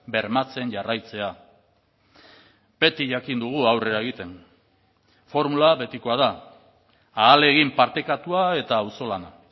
bermatzen jarraitzea beti jakin dugu aurrera egiten formula betikoa da ahalegin partekatua eta auzolana